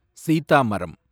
சீதாமரம்